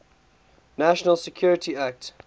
national security act